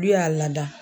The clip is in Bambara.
N'u y'a lada